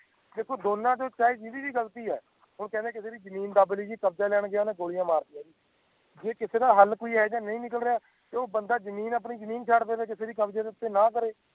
ਦੇਖੋ ਦੋਨਾਂ ਦੀ ਚਾਈਏ ਜੀਦੀ ਗ਼ਲਤੀ ਹੈ ਉਹ ਕਹਿੰਦੇ ਹੈ ਨਾ ਕਿ ਓਦੀ ਜ਼ਮੀਨ ਦਾਬਲੀ ਕਬਜ਼ਾ ਲੈਣ ਗਿਆ ਤਾ ਗੋਲੀਆਂ ਮਾਰ ਤੀਆਂ ਜੀ ਜੇ ਕਿਸੇ ਦਾ ਹਾਲ ਕੋਈ ਹੈਗਾ ਯਾ ਨਹੀਂ ਨਿਕਲਦਾ ਤਾ ਉਹ ਬੰਦਾ ਆਪਣੀ ਜ਼ਮੀਨ ਛੱਡ ਦਵੇ ਕਿਸੇ ਦੇ ਕਬਜੇ ਨਾ ਕਰੇ